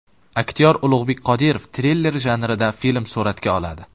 Aktyor Ulug‘bek Qodirov triller janrida film suratga oladi.